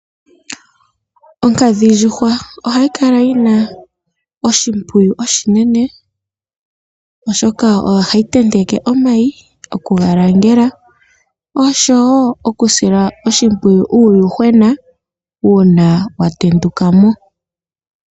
Onkadhindjuhwa ohayi kala yi na oshimpwiyu oshinene, oshoka oyo hayi tenteke omayi, okuga langela oshowo okusila oshimpwiyu uuyuhwena uuna wa tenduka mo.